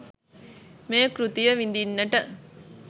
මේ කෘතිය විඳින්නට